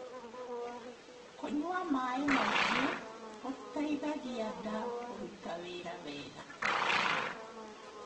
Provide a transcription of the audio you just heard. kũnyua maĩ maĩ ngi gutaithagia ndaa kũrũta wĩra wega